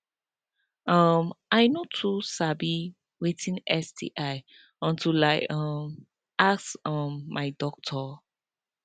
um i no too know watin sti until i um ask um my doctor